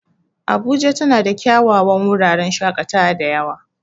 Abuja tana da kyawawan wuraren shaƙatawa da yawa.